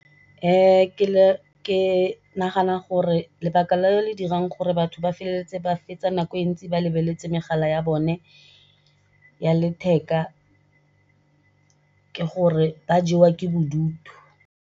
ke nagana gore lebaka le le dirang gore batho ba feleletse ba fetsa nako e ntsi ba lebeletse megala ya bone ya letheka ke gore ba jewa ke bodutu.